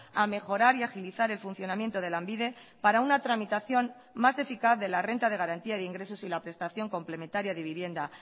a mejorar y a agilizar el funcionamiento de lanbide para una tramitación más eficaz de la renta de garantía de ingresos y la prestación complementaria de vivienda